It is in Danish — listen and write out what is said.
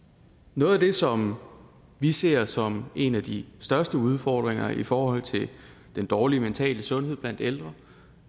noget af det som vi ser som en af de største udfordringer i forhold til den dårlige mentale sundhed blandt ældre